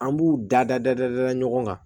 An b'u dada dada ɲɔgɔn kan